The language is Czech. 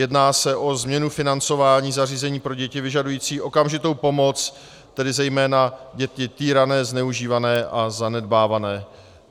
Jedná se o změnu financování zařízení pro děti vyžadující okamžitou pomoc, tedy zejména děti týrané, zneužívané a zanedbávané.